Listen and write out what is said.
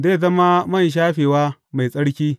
Zai zama man shafewa mai tsarki.